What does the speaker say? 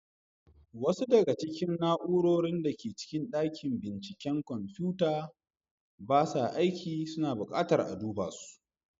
Wasu daga cikin na'urorin da ke cikin dakin binciken kwamfuta ba sa aiki, suna bukatar a duba su.